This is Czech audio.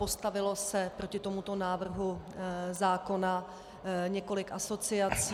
Postavilo se proti tomuto návrhu zákona několik asociací.